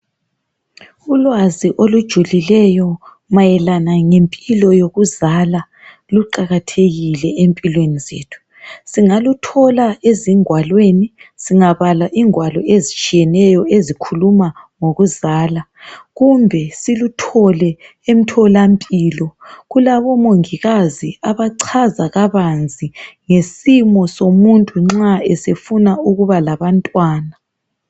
Ulwazi olujulileyo mayelana lempilo yokuzala luqakathekile empilweni zethu. Singaluthola ezingwalweni singabala ingwalo ezitshiyeneyo ezikhuluma ngokuzala kumbe siluthole emtholampilo. Kulabo mongikazi abachaza kabanzi ngesimo somuntu nxa sefuna ukuba labantwana.